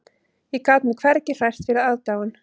Ég gat mig hvergi hrært fyrir aðdáun